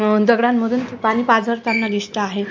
मम दगडांमधून पाणी पाझरताना दिसता आहेत.